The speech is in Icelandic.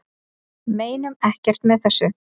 Meinum ekkert með þessu